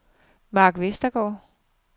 Mark Vestergaard